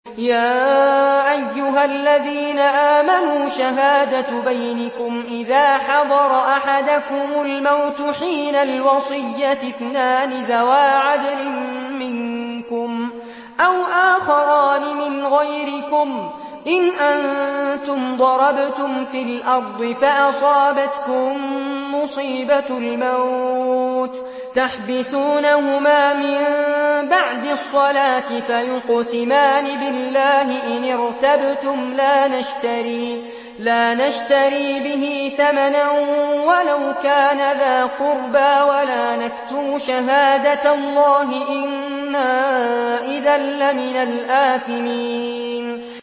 يَا أَيُّهَا الَّذِينَ آمَنُوا شَهَادَةُ بَيْنِكُمْ إِذَا حَضَرَ أَحَدَكُمُ الْمَوْتُ حِينَ الْوَصِيَّةِ اثْنَانِ ذَوَا عَدْلٍ مِّنكُمْ أَوْ آخَرَانِ مِنْ غَيْرِكُمْ إِنْ أَنتُمْ ضَرَبْتُمْ فِي الْأَرْضِ فَأَصَابَتْكُم مُّصِيبَةُ الْمَوْتِ ۚ تَحْبِسُونَهُمَا مِن بَعْدِ الصَّلَاةِ فَيُقْسِمَانِ بِاللَّهِ إِنِ ارْتَبْتُمْ لَا نَشْتَرِي بِهِ ثَمَنًا وَلَوْ كَانَ ذَا قُرْبَىٰ ۙ وَلَا نَكْتُمُ شَهَادَةَ اللَّهِ إِنَّا إِذًا لَّمِنَ الْآثِمِينَ